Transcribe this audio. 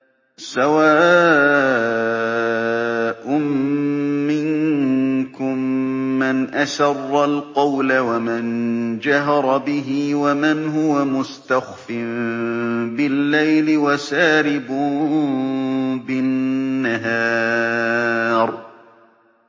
سَوَاءٌ مِّنكُم مَّنْ أَسَرَّ الْقَوْلَ وَمَن جَهَرَ بِهِ وَمَنْ هُوَ مُسْتَخْفٍ بِاللَّيْلِ وَسَارِبٌ بِالنَّهَارِ